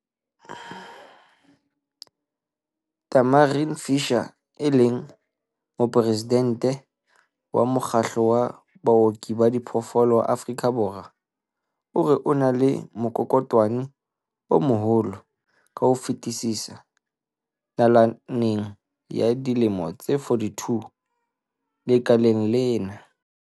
Tamarin Fisher, e leng Moporesidente wa Mokgatlo wa Baoki ba Diphoofolo wa Afrika Borwa, o re ona ke mokolokotwane o moholo ka ho fetisisa nalaneng ya dilemo tse 42 lekaleng lena.